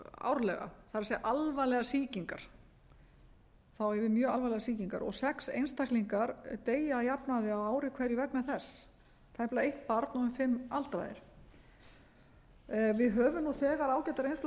árlega það er alvarlegar sýkingar þá á ég við mjög alvarlegar sýkingar og sex einstaklingar deyja að jafnaði á ári hverju vegna þess tæplega eitt barn og um fimm aldraðir við höfum nú þegar ágæta reynslu af